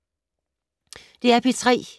DR P3